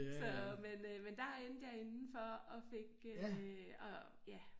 Så men øh men der endte jeg inde for at fik øh og ja